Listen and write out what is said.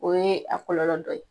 O ye a kɔlɔlɔ dɔ ye